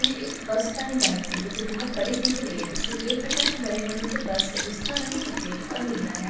में एक bus stand बनी बानी हुई जो की बहुत बड़ी दिख रही है जिसमें के प्रकार के बड़े-बड़े से बस है जिसका रंग सफेद और नीला है ।